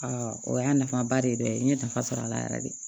o y'a nafaba de dɔ ye n ye nafa sɔrɔ a la yɛrɛ yɛrɛ de